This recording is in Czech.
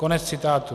" Konec citátu.